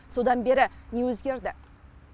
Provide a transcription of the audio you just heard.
содан бері не өзгерді